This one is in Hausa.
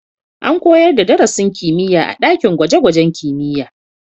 An koyar da darasin kimiyya a ɗakin gwaje-gwajen kimiyya